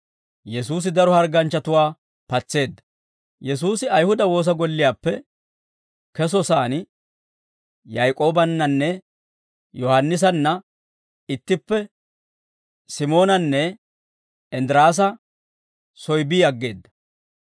Yesuusi Ayihuda woosa golliyaappe kesosaan, Yaak'oobannanne Yohaannisanna ittippe Simoonanne Inddiraasa soy bi aggeedda.